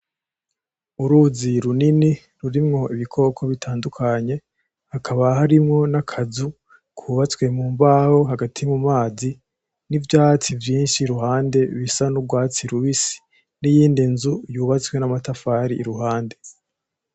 Uruzi runini rurimwo ibikoko bitandukanye. Hakaba harimwo n'akazu kubatswe mu mbaho hagati mu mazi n'ivyatsi vyinshi iruhande bisa n'urwatsi rubisi, n'iyindi nzu yubatswe n'amatafari iruhande.